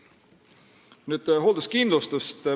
Hoolduskindlustus.